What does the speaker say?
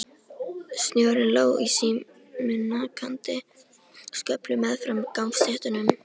Snjórinn lá í síminnkandi sköflum meðfram gangstéttunum.